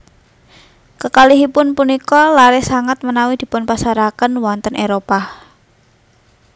Kekalihipun punika laris sanget menawi dipunpasaraken wonten Éropah